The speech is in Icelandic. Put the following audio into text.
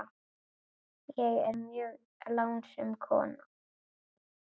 Ég er mjög lánsöm kona.